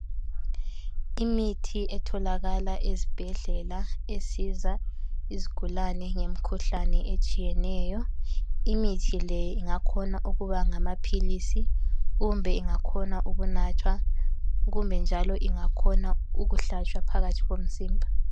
Imithi etholakala ezibhedlela esiza izigulane ngemikhuhlane etshiyeneyo. Imithi le ingakhona ukuba ngamaphilisi kumbe ingakhona ukunathwa kumbe njalo ingakhona ukuhlatshwa phakathi komzimba.